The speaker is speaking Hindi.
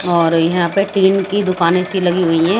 और यहाँ पे टीन की दुकानें सी लगी हुई है।